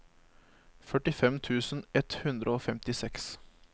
førtifem tusen ett hundre og femtiseks